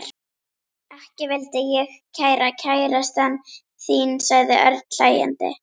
Ekki vildi ég vera kærastan þín sagði Örn hlæjandi.